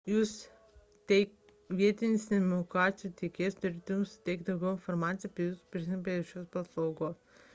jūsų vietinis telekomunikacijų tiekėjas turėtų jums suteikti daugiau informacijos apie prisijungimą prie šios paslaugos